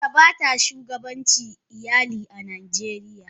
Mace bata shugabantan iyali a najeriya.